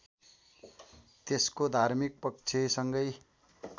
त्यसको धार्मिक पक्षसँगै